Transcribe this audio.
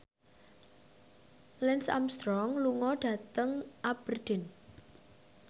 Lance Armstrong lunga dhateng Aberdeen